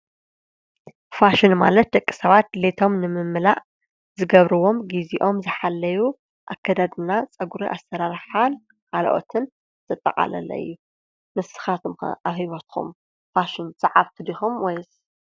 ፋሽን ማለት ደቂ ሰባት ድሌቶም ንምምላእ ዝገብርዎም ጊዜኦም ዝሓለዩ ኣከዳድና ፀጕሩ ኣሠራርሓን ካልኦትን ዘጠቓለለ እዩ፡፡ ንስኻትኩም ኣሕበትኹም ፋሽን ሰዓብቲ ዲኹም ወይስ?